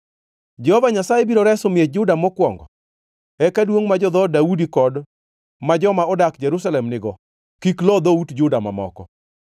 “Jehova Nyasaye biro reso miech Juda mokwongo, eka duongʼ ma jo-dhood Daudi kod ma joma odak Jerusalem nigo kik lo dhout Juda mamoko.